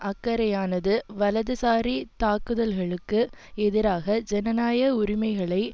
அக்கறையானது வலதுசாரி தாக்குதல்களுக்கு எதிராக ஜனநாயக உரிமைகளை